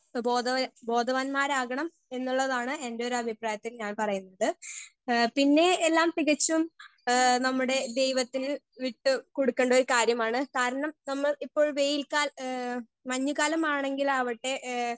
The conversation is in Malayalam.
സ്പീക്കർ 1 സ്വബോധ ബോധവാന്മാരാകണം എന്നുള്ളതാണ് എന്റൊരഭിപ്രായത്തിൽ ഞാൻ പറയുന്നത് ഏ പിന്നെ എല്ലാം തികച്ചും ഏ നമ്മടെ ദൈവത്തിന് വിട്ട് കൊടുക്കണ്ടൊരു കാര്യമാണ് കാരണം നമ്മൾ ഇപ്പോൾ വെയിൽ കാൽ ഏ മഞ്ഞ് കാലമാണെങ്കിലാവട്ടെ ഏ.